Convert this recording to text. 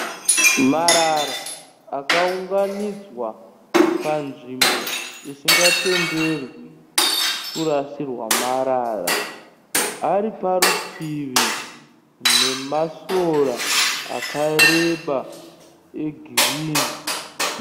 Marara akaunganidzwa panzvimbo isingatenderwi kurasirwa marara. Ari parutivi nemasora akareba egirini.